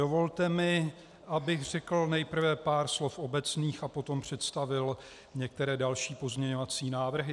Dovolte mi, abych řekl nejprve pár slov obecných a potom představil některé další pozměňovací návrhy.